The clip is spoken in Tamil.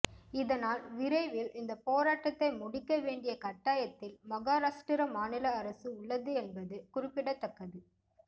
இதனால் விரைவில் இந்த போராட்டத்தை முடிக்க வேண்டிய கட்டாயத்தில் மகாராஷ்டிர மாநில அரசு உள்ளது என்பது என்பது குறிப்பிடத்தக்கது